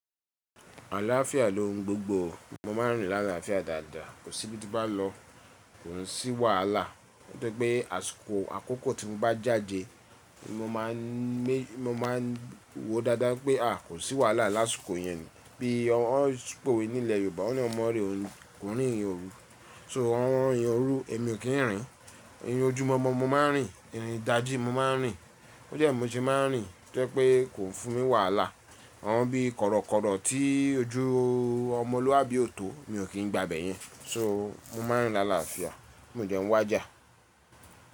Àlàáfíà ló ń gbogbo. Mo máa ń rìn l’àlàáfíà dáadáa. Kò sí ibi tí bá lọ, kò ń sí wàhálà. Ó jẹ́ pé àsìkò àkókò tí m bá jáde, mo máà n mé mo máà ń wo dáadáa pé a kò sí wàhálà lásìkò yẹn. Bí wọ́n pò wè ní ilẹ̀ Yorùbá, wọ́n ní ọmọ rẹ̀ ò ní, kò ń rírin órú. So àwọn ìrìn óru èmi ò kí ń rìn. Irin ojúmọ́ mọ mo máà ń rìn, irin dàjí mo máà ń rìn. Ó jẹ́ mo ṣe máà ń rìn tó jé pé kò fún mi wàhálà. Àwọn bí korokoro tí ojú ọmọlúàbí ò tó mi ò kín gba bẹ̀yẹn. So mo máà ń rìn l’àlàáfíà. Mí ó dé ń wá jà.